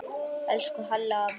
Elsku Halli afi minn.